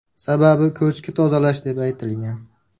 Sababi ko‘chki tozalash deb aytilgan.